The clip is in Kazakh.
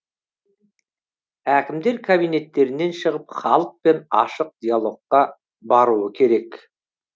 әкімдер кабинеттерінен шығып халықпен ашық диалогқа баруы керек